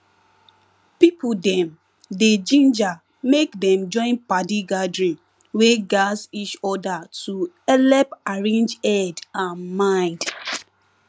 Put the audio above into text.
people dem dey ginger make dem join padi gathering wey gatz each other to helep arrange head and mind